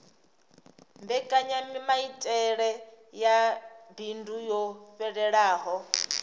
mbekanyamaitele ya bindu yo fhelelaho